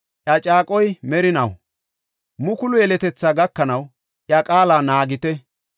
Iya caaquwa merinaw mukulu yeletethaa gakanaw, iya qaala naagite.